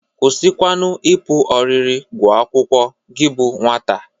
Kwụsịkwanụ ịpụ ọrịrị gụa akwụkwọ gị bụ nwata!